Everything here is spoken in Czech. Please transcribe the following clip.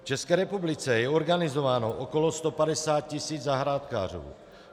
V České republice je organizováno okolo 150 tisíc zahrádkářů.